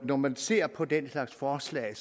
når man ser på den slags forslag